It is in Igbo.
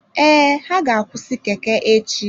Ee, ha ga-akwụsị Keke echi.